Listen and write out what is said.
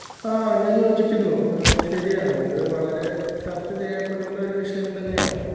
ആ ഞാൻ യോജിക്കുന്നു ഏഹ് ശരിയാണ്.ഇത് വളരെ ചർച്ച ചെയ്യപ്പെടേണ്ട ഒരു വിഷയം തന്നെയാണ്.